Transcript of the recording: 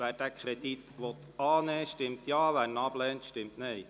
Wer den Kredit annimmt, stimmt Ja, wer diesen ablehnt, stimmt Nein.